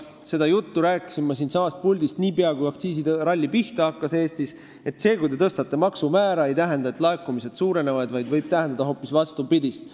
Seda juttu rääkisin ma siitsamast puldist niipea, kui aktsiisiralli Eestis pihta hakkas: see, kui te tõstate maksumäära, ei tähenda, et laekumised suurenevad, vaid see võib tähendada hoopis vastupidist.